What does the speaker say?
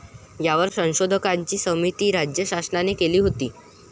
यावर संशोधकांची समिती राज्य शासनाने केली होती